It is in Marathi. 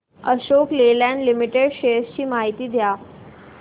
अशोक लेलँड लिमिटेड शेअर्स ची माहिती द्या